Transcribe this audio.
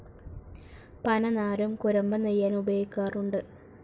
പനനാരും കുരമ്പ നെയ്യാൻ ഉപയോഗിക്കാറുണ്ട്.